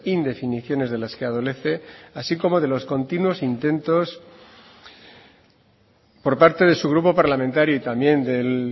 indefiniciones de las que adolece así como de los continuos intentos por parte de su grupo parlamentario y también del